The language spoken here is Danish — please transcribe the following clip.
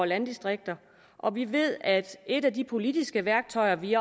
landdistrikter og vi ved at et af de politiske værktøjer vi